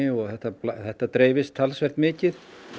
og þetta þetta dreifist talsvert mikið